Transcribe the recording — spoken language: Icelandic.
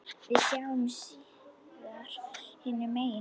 Við sjáumst síðar hinum megin.